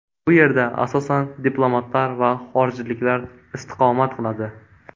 Bu yerda asosan diplomatlar va xorijliklar istiqomat qiladi.